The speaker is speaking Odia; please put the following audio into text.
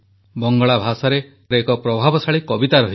ବଙ୍ଗଳା ଭାଷାରେ ଏକ ପ୍ରଭାବଶାଳୀ କବିତା ରହିଛି